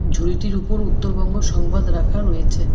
ঝুড়িটির উপর উত্তরবঙ্গ সংবাদ রাখা রয়েছে।